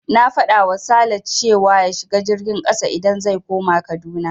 Na faɗawa Sule cewa ya shiga jirgin ƙasa idan zai koma Kaduna.